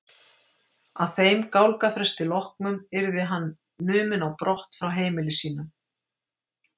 Að þeim gálgafrest loknum yrði hann numinn á brott frá heimili sínu.